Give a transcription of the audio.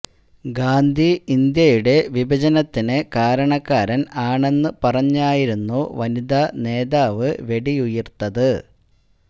ഗാന്ധി ഇന്ത്യയുടെ വിഭജനത്തിന് കാരണക്കാരന് ആണെന്ന് പറഞ്ഞായിരുന്നു വനിതാ നേതാവ് വെടിയുതിര്ത്തത്